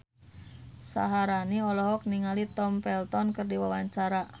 Syaharani olohok ningali Tom Felton keur diwawancara